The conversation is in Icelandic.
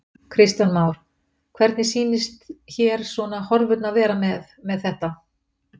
Kristján Már: Hvernig sýnist hér svona horfurnar vera með, með þetta?